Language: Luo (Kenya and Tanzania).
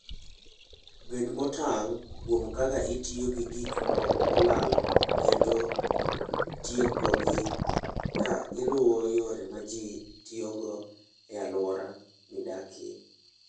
Bed motang' kuom kaka itiyo gi gik molal kendo tiekogi, ka iluwo yore ma ji tiyogo e alwora midakie.